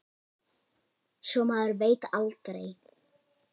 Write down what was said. Svo maður veit aldrei.